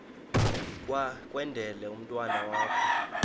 kwendele umntwana wakho